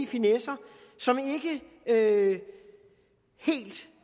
finesser som ikke helt